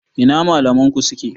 Ina malaman ku suke?